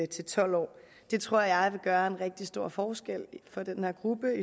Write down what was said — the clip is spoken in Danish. til tolv år det tror jeg vil gøre en rigtig stor forskel for den her gruppe